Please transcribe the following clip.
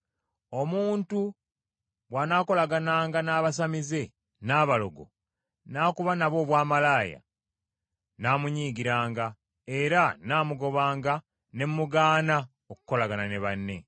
“ ‘Omuntu bw’anaakolagananga n’abasamize, n’abalogo, n’akuba nabo obwamalaaya, nnaamunyiigiranga, era nnaamugobanga ne mugaana okukolagana ne banne.